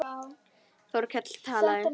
Þórkell talaði.